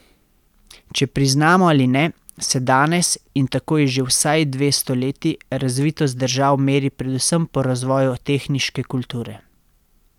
Če priznamo ali ne, se danes, in tako je že vsaj dve stoletji, razvitost držav meri predvsem po razvoju tehniške kulture.